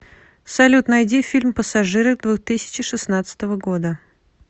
салют найди фильм пассажиры двух тысячи шестнадцатого года